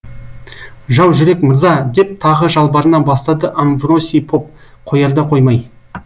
жау жүрек мырза деп тағы жалбарына бастады амвросий поп қоярда қоймай